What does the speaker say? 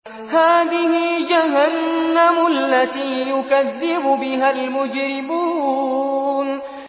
هَٰذِهِ جَهَنَّمُ الَّتِي يُكَذِّبُ بِهَا الْمُجْرِمُونَ